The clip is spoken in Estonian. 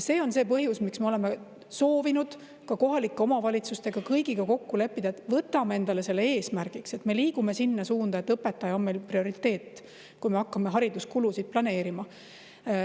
See on see põhjus, miks me oleme soovinud kõigi kohalike omavalitsustega kokku leppida, et võtame endale eesmärgiks, et me liigume sinna suunda, et õpetaja on meil prioriteet, kui me hakkame hariduskulusid planeerima.